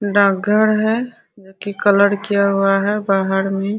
डाक घर है जो की कलर किया हुआ है बाहर में।